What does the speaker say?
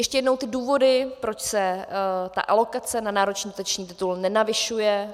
Ještě jednou ty důvody, proč se ta alokace na národní dotační titul nenavyšuje.